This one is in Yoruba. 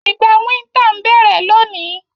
Ìgbà winter n bẹ́rẹ́ loni